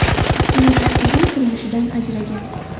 Ikki nafar qizim turmushidan ajragan.